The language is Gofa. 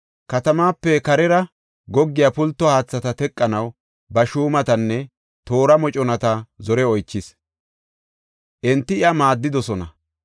katamaape karera goggiya pulto haathata teqanaw ba shuumatanne toora moconata zore oychis; enti iya maaddidosona.